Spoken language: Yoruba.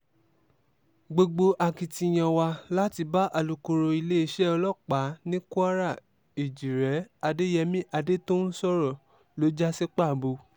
gbogbo akitiyan wa láti bá alūkkoro iléeṣẹ́ ọlọ́pàá ní kwara èjíre adéyẹmi adẹ́tọ̀ún sọ̀rọ̀ ló já sí pàbó